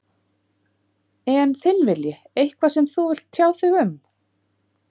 En þinn vilji, eitthvað sem þú vilt tjá þig um?